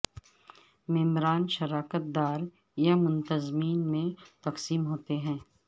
ممبران شراکت دار یا منتظمین میں تقسیم ہوتے ہیں